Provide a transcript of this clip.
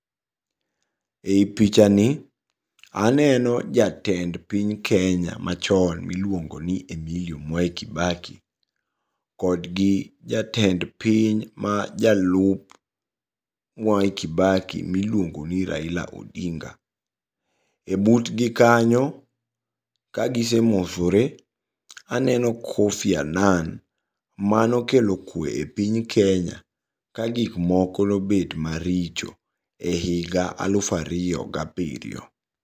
Ei pichani aneno jatend piny Kenya machon miluongoni Emilio Mwai Kibaki, kodgi jatend piny ma jalup Mwai Kibaki miluongoni Raila Odinga. E butgi kanyo kagisemosore aneno Kofi Anan, manokelo kwe e piny Kenya kagikmoko nobet maricho, e higa aluf ariyo ga abiriyo.